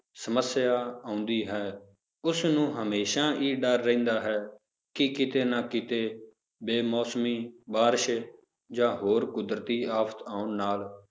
ਸਮੱਸਿਆ ਆਉਂਦੀ ਹੈ ਉਸਨੂੰ ਹਮੇਸ਼ਾ ਹੀ ਡਰ ਰਹਿੰਦਾ ਹੈ ਕਿ ਕਿਤੇ ਨਾ ਕਿਤੇ ਬੇ-ਮੌਸਮੀ ਬਾਰਿਸ਼ ਜਾਂ ਹੋਰ ਕੁਦਰਤੀ ਆਫ਼ਤ ਆਉਣ ਨਾਲ